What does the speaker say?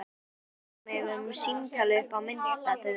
Hvað varðar mig um símtal upp á myndatöku?